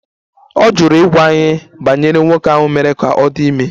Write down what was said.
Ọ jụrụ ịgwa anyị banyere nwoke ahụ mere ka ọ dị ime